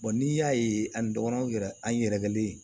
n'i y'a ye ani dɔgɔninw yɛrɛ an yɛrɛkɛlen